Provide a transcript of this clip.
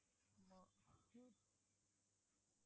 ஆமா ஹம்